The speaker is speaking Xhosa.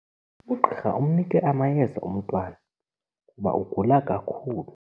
Ugqirha umnike amayeza umntwana kuba ugula kakhulu.